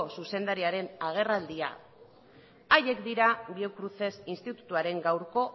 zuzendariaren agerraldia haiek dira biocruces institutuaren gaurko